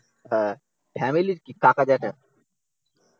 হ্যাঁ, ফ্যামিলির কী কাকা জ্যাঠা